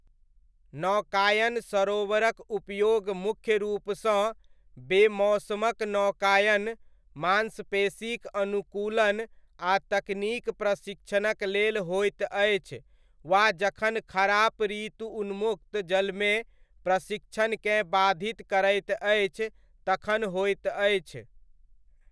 नौकायन सरोवरक उपयोग मुख्य रूपसँ बेमौसमक नौकायन, मांसपेशीक अनुकूलन आ तकनीक प्रशिक्षणक लेल होइत अछि वा जखन खराप ऋतु उन्मुक्त जलमे प्रशिक्षणकेँ बाधित करैत अछि तखन होइत अछि।